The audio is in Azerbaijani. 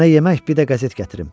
Sənə yemək, bir də qəzet gətirim.